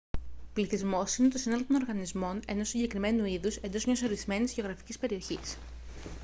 πληθυσμός είναι το σύνολο των οργανισμών ενός συγκεκριμένου είδους εντός μιας ορισμένης γεωγραφικής περιοχής